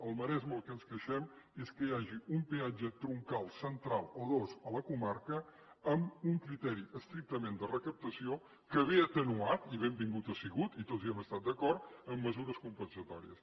al maresme del que ens queixem és que hi hagi un peatge troncal central o dos a la comarca amb un criteri estrictament de recaptació que ve atenuat i benvingut ha sigut i tots hi hem estat d’acord amb mesures compensatòries